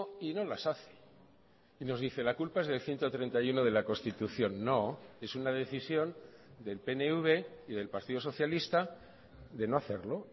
y no las hace y nos dice la culpa es del ciento treinta y uno de la constitución no es una decisión del pnv y del partido socialista de no hacerlo